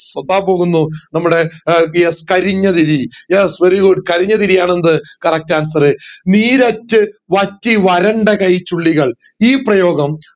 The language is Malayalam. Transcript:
ഒത്താൻ പോകുന്നു നമ്മടെ PS കരിഞ്ഞ തിരി yes very goog കരിഞ്ഞ തിരിയാന് എന്ത് ശരിയായ answer നീരറ്റ് വറ്റി വരണ്ട കൈചുള്ളികൾ ഈ പ്രയോഗം